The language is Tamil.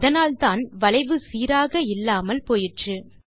அதனால்தான் வளைவு சீராக இல்லாமல் போயிற்று